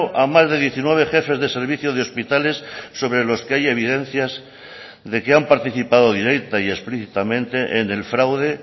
a más de diecinueve jefes de servicio de hospitales sobre los que hay evidencias de que han participado directa y explícitamente en el fraude